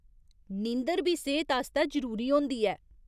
नींदर बी सेह्त आस्तै जरूरी होंदी ऐ।